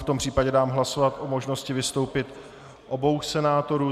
V tom případě dám hlasovat o možnosti vystoupení obou senátorů.